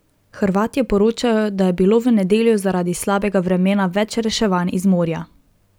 Hrvatje poročajo, da je bilo v nedeljo zaradi slabega vremena več reševanj iz morja.